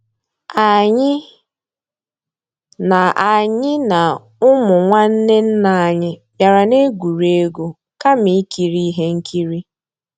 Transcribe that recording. Ànyị́ ná Ànyị́ ná ụmụ́ nnwànné nná ànyị́ bìàrà ná-ègwúrí égwu kàmà ìkírí íhé nkírí.